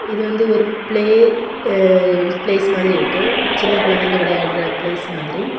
இது வந்து ஒரு பிளே ப்ளேஸ் மாதிரி இருக்கு சின்ன குழந்தைகள் விளையாட ப்ளேஸ் மாதிரி இருக்கு.